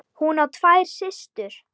Hún á tvær systur.